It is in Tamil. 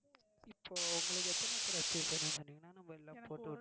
இப்போ உங்களுக்கு எத்தனை எத்தனை piece வேணும்னு சொன்னீங்கன்னா நம்ம எல்லாம் போட்டிவிட்டுடுவோம்.